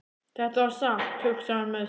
Þetta var satt, hugsaði hann með sér.